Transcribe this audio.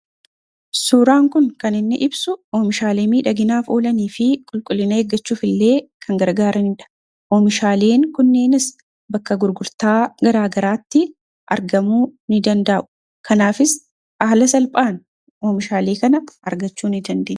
suuraan kun kan inni ibsu oomishaalee miidhaginaaf oolanii fi qulqullina eeggachuuf illee kan gargaaraniidha. oomishaaleen kunneenis bakka gurgurtaa garaagaraatti argamuu ni dandaa'u kanaafis aala salphaan oomishaalee kana argachuu ni danda'ama